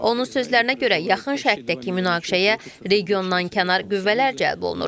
Onun sözlərinə görə, yaxın Şərqdəki münaqişəyə regiondan kənar qüvvələr cəlb olunur.